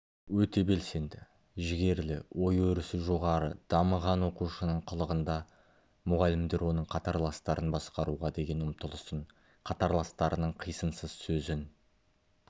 өте белсенді жігерлі ой-өрісі жоғары дамыған оқушының қылығында мұғалімдер оның қатарластарын басқаруға деген ұмтылысын қатарластарының қисынсыз сөзін